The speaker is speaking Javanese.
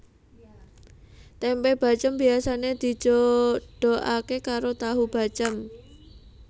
Tempe bacém biasane dijodoke karo tahu bacém